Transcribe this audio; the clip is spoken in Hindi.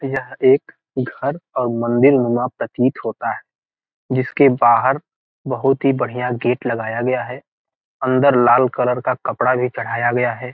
यह एक घर और मंदिर बना प्रतीत होता है | जिसके बाहर बहुत ही बढ़िया गेट लगाया गया है | अंदर लाल कलर का कपड़ा भी चढ़ाया गया है |